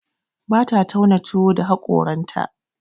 Bata tauna tuwo da haƙoranta.